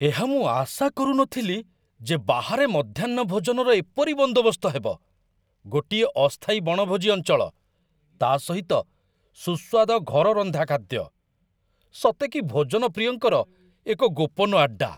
ଏହା ମୁଁ ଆଶା କରୁନଥିଲି ଯେ ବାହାରେ ମଧ୍ୟାହ୍ନ ଭୋଜନର ଏପରି ବନ୍ଦୋବସ୍ତ ହେବ ଗୋଟିଏ ଅସ୍ଥାୟୀ ବଣଭୋଜି ଅଞ୍ଚଳ, ତା' ସହିତ ସୁସ୍ୱାଦ ଘର ରନ୍ଧା ଖାଦ୍ୟ! ସତେକି ଭୋଜନ ପ୍ରିୟଙ୍କର ଏକ ଗୋପନ ଆଡ୍ଡା!